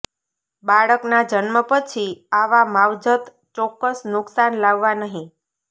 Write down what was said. બાળકના જન્મ પછી આવા માવજત ચોક્કસ નુકસાન લાવવા નહીં